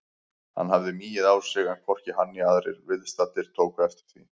Hann hafði migið á sig en hvorki hann né aðrir viðstaddir tóku eftir því.